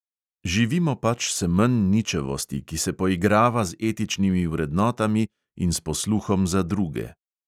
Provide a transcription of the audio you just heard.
Živimo pač semenj ničevosti, ki se poigrava z etičnimi vrednotami in s posluhom za druge.